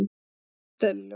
Þú ert eðlilegur.